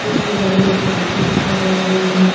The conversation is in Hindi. इनमें लगी एक घंटी नजर आ रही है।